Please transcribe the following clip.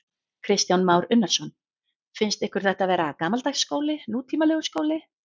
Kristján Már Unnarsson: Finnst ykkur þetta vera gamaldags skóli, nútímalegur skóli?